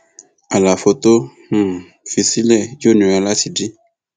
àlàfo tó um fi sílẹ yóò nira láti dí